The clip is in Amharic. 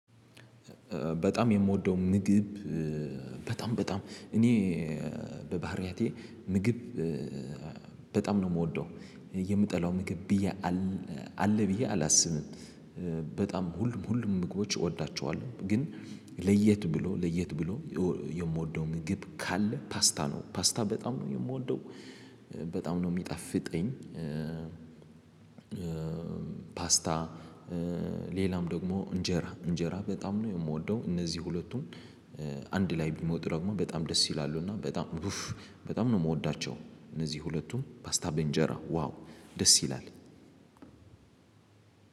በጣም የምወደው ምግብ በጣም በጣም እኔ በባህሪያቴ ምግብ በጣም ነው የምወደው የምጠላው ምግብ ብዬ አለ ብዬ አላስብም። በጣም ሁሉም ሁሉም ምግቦች እወዳቸዋለሁ። ግን ለየት ብሎ ለየት ብሎ የምወደው ምግብ ካለ ፓስታ ነው ፓስታ በጣም ነው የምወደው በጣም ነው የሚጣፍጠኝ። ፓስታ ሌላም ደግሞ እንጀራ እንጀራ በጣም ነው የምወደው እነዚህ ሁለቱም። አንድ ላይ ቢሞጡ ደግሞ በጣም ደስ ይላሉ። እና በጣም ኡፍ በጣም ነው የምወዳቸው እነዚህ ሁለቱም ፓስታ በእንጀራ ዋው ደስ ይላል።